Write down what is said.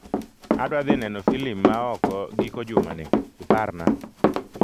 Adwa dhi neno filim ma oko giko jumani, iparna.